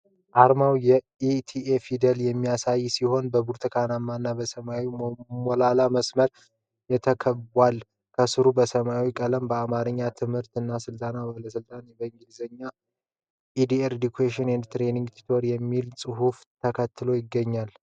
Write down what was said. አርማው የ"ETA" ፊደላትን የሚያሳይ ሲሆን፣ በብርቱካናማ እና በሰማያዊ ሞላላ መስመሮች ተከቧል። ከስሩ በሰማያዊ ቀለም በአማርኛ "የትምህርት እና ስልጠና ባለሥልጣን" እና በእንግሊዝኛ "EDRE EDUCATION AND TRAINING AUTHORITY" የሚል ጽሑፍ ተከትሎ ይገኛል።